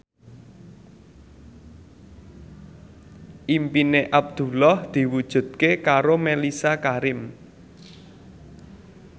impine Abdullah diwujudke karo Mellisa Karim